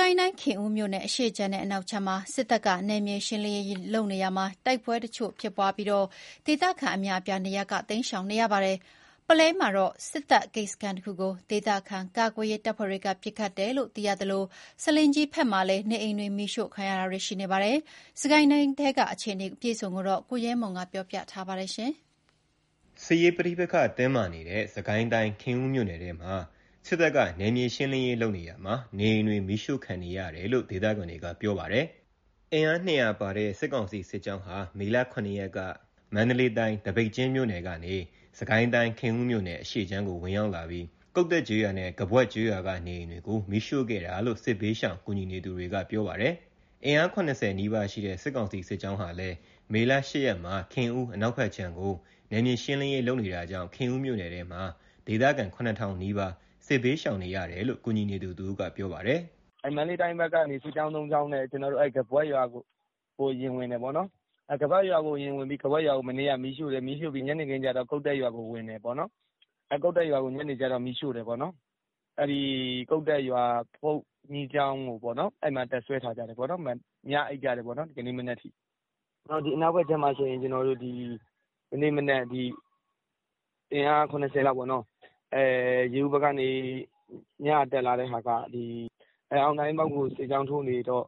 ကိုင်းတိုင်း ခင်ဦးမြို့နယ် အရှေ့ခြမ်းနဲ့အနောက်ခြမ်းမှာ စစ်တပ်က နယ်မြေရှင်းလင်းရာမှာ တိုက်ပွဲတချို့ဖြစ်ပြီး ဒေသခံအများအပြား နေရပ်ကတိမ်းရှောင်ကြရပါတယ်။ ပုလဲမှာတော့ စစ်တပ်ဂိတ်စခန်းတခုကို ဒေသခံကာကွယ်ရေးတပ်ဖွဲ့တွေက ပစ်ခတ်တယ်လို့သိရသလို ဆားလင်းကြီးဘက်မှာလည်း နေအိမ်တွေမီးရှို့ခံရပါတယ်။ စစ်ကိုင်းတိုင်းထဲက အခြေအနေအပြည့်အစုံကို ကိုရဲမွန်က တင်ပြပေးထားပါတယ်။ စစ်ရေးပဋိပက္ခတင်းမာနေတဲ့ စစ်ကိုင်းတိုင်း ခင်ဦးမြို့နယ်ထဲမှာ စစ်တပ်ရဲ့ နယ်မြေရှင်းလင်းရေးမှာ နေအိမ်တွေမီးရှို့ခံနေရတယ်လို့ ဒေသခံတွေကပြောပါတယ်။ အင်အား ၂၀၀ ပါတဲ့ စစ်ကောင်စီစစ်ကြောင်းဟာ မေလ ၇ ရက်က မန္တလေးတိုင်း သပိတ်ကျင်းမြို့နယ်ကနေ စစ်ကိုင်းတိုင်း ခင်ဦးမြို့နယ်အရှေ့ခြမ်းကို ဝင်ရောက်လာပြီး ကုတ္တက်ကျေးရွာနဲ့ ကဘွတ်ကျေးရွာက နေအိမ်တွေကို မီးရှို့ခဲ့တာလို့ စစ်ဘေးရှောင်ကူညီနေသူတွေက ပြောပါတယ်။ အင်အား ၇၀ နီးပါးရှိတဲ့ စစ်ကောင်စီ စစ်ကြောင်းဟာလည်း မေ ၈ ရက်မှာ ခင်ဦးအနောက်ဘက်ခြမ်းကို နယ်မြေရှင်းလင်းရေးလုပ်နေတာကြောင့် ခင်ဦးမြို့နယ်ထဲမှာ ဒေသခံ ၇,၀၀၀ နီးပါး စစ်ဘေးရှောင်နေရတယ်လို့ ကူညီနေသူတဦးက ပြောပါတယ်။ “မန္တလေးတိုင်းဘက်ကနေ စစ်ကြောင်း ၃ ကြောင်းနဲ့ ကဘွတ်ရွာကိုဝင်တယ်ပေါ့နော်။ ကဘွတ်ရွာကိုဝင်ပြီး ကဘွတ်ရွာကို မနေ့က မီးရှို့တယ်။ ညနေခင်းကျတော့ ကုတ္တက်ရွာကိုဝင်တယ်ပေါ့။ ကုတ္တက်ရွာကို ညနေကျတော့မီးရှို့တယ်ပေါ့။ ကုတ္တက်ရွာဘုန်းကြီးကျောင်းမှာ တပ်စွဲပြီး ညအိပ်ကြတယ်ပေါ့နော်။ ဒီကနေ့ မနက်အထိ။ အနောက်ဘက်ခြမ်းမှာဆိုရင် အင်အား ၇၀ လောက်ပေါ့နော်။ ရေဦးဘက်ကနေ ညတက်လာတဲ့ဟာက အောင်သာ၊ အင်းပေါက်ဘက်ကို စစ်ကြောင်းထိုးနေတော့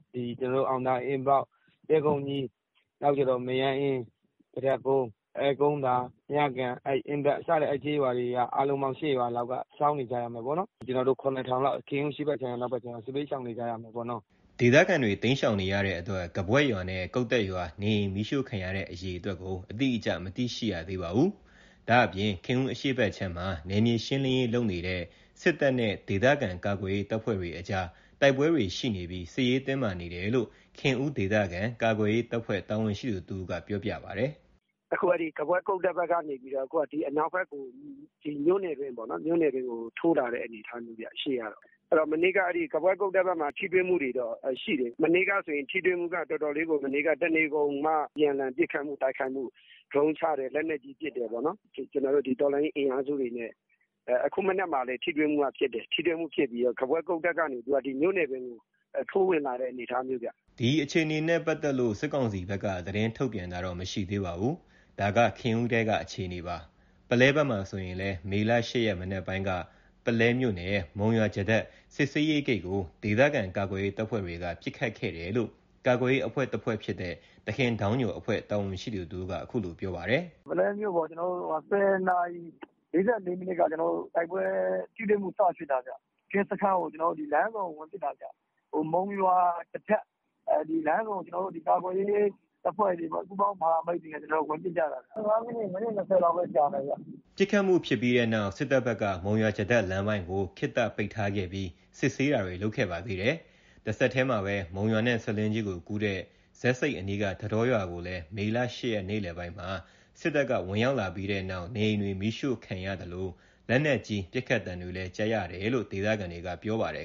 အောင်သာ၊ အင်းပေါက်၊ တဲကုန်းကြီး၊ မရမ်းအင်း၊ ကဒက်ကုန်း၊ ကုန်းသာ၊ မြကန်၊ အင်းပတ် စတဲ့ကျေးရွာတွေ အားလုံးပေါင်း ၈ ရွာလောက်က ရှောင်နေကြရမယ်ပေါ့။ ကျနော်တို့ ၇,၀၀၀ လောက် ခင်ဦးအရှေ့ဘက်ခြမ်းကော အနောက်ဘက်ခြမ်းကော စစ်ဘေးရှောင်နေကြရမယ်ပေါ့။” ဒေသခံတွေတိမ်းရှောင်နေရတဲ့အတွက် ကဘွတ်ရွာနဲ့ကုတ္တက်ရွာ နေအိမ်မီးရှို့ခံရတဲ့အေရအတွက်ကို အတိအကျ မသိရှိရသေးပါဘူး။ ဒါ့ပြင် ခင်ဦးအရှေ့ဘက်ခြမ်းမှာ နယ်မြေရှင်းလင်းရေးလုပ်နေတဲ့ စစ်တပ်နဲ့ ဒေသခံကာကွယ်ရေးတပ်ဖွဲ့တွေကြား တိုက်ပွဲတွေရှိနေပြီး စစ်ရေးတင်းမာနေတယ်လို့ ခင်ဦးဒေသခံကာကွယ်ရေးတပ်ဖွဲ့ တာဝန်ရှိသူတဦးက ပြောပြပါတယ်။ “အခု ကဘွက်ကုတ္တက်ဘက်ကနေပြီးတော့ အနောက်ဘက်ကို မြို့နယ်အတွင်း ထိုးလာတဲ့ အနေအထားမျိုးဗျ။ မနေ့ကတော့ ကဘွက် ကုတ္တက်ဘက်မှာ ထိတွေ့မှုတွေတော့ရှိတယ်။ မနေ့ကထိတွေ့မှုက တနေကုန်အပြန်အလှန် ပစ်ခတ်မှုတိုက်ခိုက်မှု ဒရုန်းချတယ်။ လက်နက်ကြီး ပစ်တယ်ပေါ့။ ကျနော်တို့ တော်လှန်ရေးအင်အားစုတွေနဲ့ အခုမနက်က ထိတွေ့မှုဖြစ်တယ်။ ကဘွက် ကုတ္တက်ဘက်ကနေ မြို့နယ်အတွင်းကို ထိုးတက်လာတဲ့ပုံစံမျိုးခင်ဗျ။” ဒီအခြေအနေနဲ့ပတ်သက်လို့ စစ်ကောင်စီဘက်က သတင်းထုတ်ပြန်တာတော့မရှိသေးပါဘူး။ ဒါက ခင်ဦးထဲက အခြေအနေပါ။ ပုလဲဘက်မှာဆိုရင်လည်း မေ ၈ ရက် မနက်ပိုင်းက ပုလဲမြို့နယ် မုံရွာ-ကျားတက် စစ်ဆေးရေးဂိတ်ကို ဒေသခံကာကွယ်ရေးတပ်ဖွဲ့တွေက ပစ်ခတ်ခဲ့တယ်လို့ ကာကွယ်ရေးအဖွဲ့တဖွဲ့ဖြစ်တဲ့ သခင်ဒေါင်းညိုအဖွဲ့ တာဝန်ရှိသူတဦးကပြောပါတယ်။ “ပုလဲမြို့ပေါ် ၁၀ နာရီ ၄၄ မိနစ်က တိုက်ပွဲထိတွေ့မှု စဖြစ်တာခင်ဗျ။ ကင်းစခန်း လမ်းဆုံကို ဝင်ပစ်တာခင်ဗျ။ မုံရွာ-ကျားတက် လမ်းဆုံကို ကာကွယ်ရေးတပ်ဖွဲ့တွေ ပူးပေါင်းတပ်ဖွဲ့တွေက ဝင်ပစ်ကြတာ။ ၁၅ မိနစ်၊ မိနစ် ၂၀ လောက်တော့ ကြမယ်။” ပစ်ခတ်မှုဖြစ်ပြီးတဲ့နောက် စစ်တပ်ဘက်က မုံရွာ-ကျားတက် လမ်းပိုင်းကို ခေတ္တပိတ်ထားခဲ့ပြီး စစ်ဆေးတာတွေလုပ်ခဲ့ပါသေးတယ်။ တဆက်တည်းမှာပဲ မုံရွာနဲ့ဆားလင်းကြီးကို ကူးတဲ့ ဇက်ဆိပ်အနီးက ထန်းတောရွာကိုလည်း မေ ၈ ရက် နေ့လည်ပိုင်းမှာ စစ်တပ်က ဝင်ရောက်လာပြီးတဲ့နောက် နေအိမ်တွေ မီးရှို့ခံရသလို လက်နက်ကြီး ပစ်ခတ်သံတွေလည်း ကြားရတယ်လို့ ဒေသခံတွေက ပြောပါတယ်